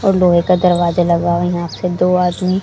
और लोहे का दरवाजा लगा है यहां पे दो आदमी--